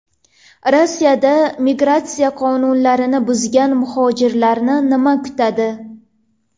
Rossiyada migratsiya qonunlarini buzgan muhojirlarni nima kutadi?